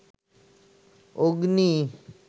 অগ্নি